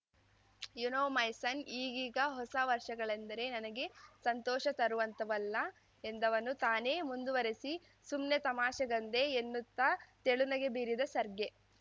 you know my son ಈಗೀಗ ಹೊಸ ವರ್ಷಗಳಂದರೆ ನನಗೆ ಸಂತೋಷ ತರೋವಂತವಲ್ಲ ಎಂದವನು ತಾನೇ ಮುಂದುವರೆಸಿಸುಮ್ನೆ ತಮಾಷೆಗಂದೆ ಎನ್ನುತ್ತ ತೆಳುನಗೆ ಬೀರಿದ ಸರ್ಗೆ